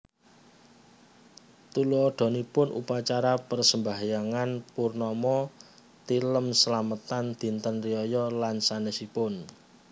Tuladhanipun Upacara Persembahyangan Purnama Tilem slametan Dinten riyaya lan sanésipun